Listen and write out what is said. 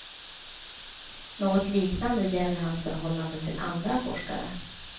Något liknande gäller hans förhållande till andra forskare.